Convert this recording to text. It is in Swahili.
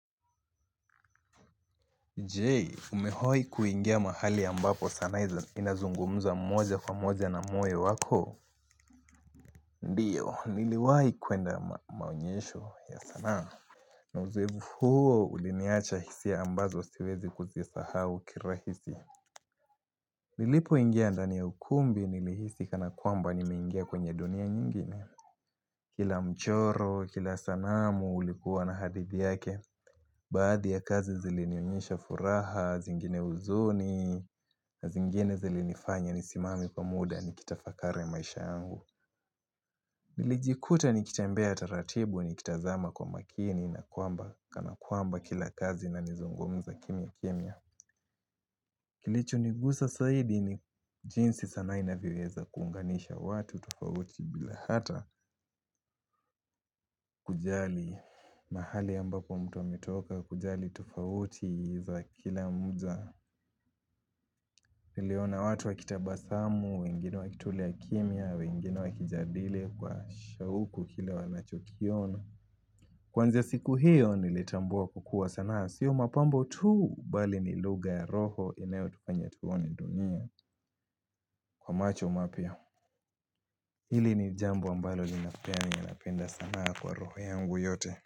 Je, umewai kuingia mahali ambapo sanaa inazungumuza mmoja kwa mmoja na moyo wako? Ndiyo, niliwai kuenda maonyesho ya sanaa. Na uzoefu huo uliniacha hisia ambazo siwezi kuzisaau hao kirahisi. Nilipo ingia ndani ya ukumbi nili hisika na kwamba nimeingia kwenye dunia nyingine. Kila mchoro, kila sanamu ulikuwa na hadithi yake. Baadhi ya kazi zilinionyesha furaha, zingine huzuni, na zingine zilinifanya nisimame kwa muda nikitafakari maisha yangu Nilijikuta nikitembea taratibu nikitazama kwa makini na kwamba kana kwamba kila kazi inanizungumza kimya kimya Kilicho nigusa zaidi ni jinsi sanaa inavyoweza kuunganisha watu tofauti bila hata kujali mahali ambapo mtu ametoka kujali tufauti za kila muda Nileona watu wakitabasamu, wengine wakitulia kimia, wengine wakijadile kwa shauku ile wanachokiona Kwanza siku hiyo nilitambua kukua sanaa Sio mapambo tuu bali ni lugha ya roho inayo tufanye tuoni dunia kwa macho mapya Hili ni jambo ambalo ninapenda ninapea ninapea sanaa kwa roho yangu yote.